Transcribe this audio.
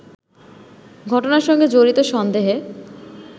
ঘটনার সঙ্গে জড়িত সন্দেহে